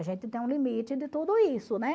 A gente tem um limite de tudo isso, né?